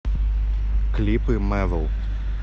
клипы мэвл